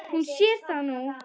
Hún sér það nú.